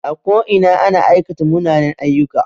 A ko ina ana aikata munanen aiyyuka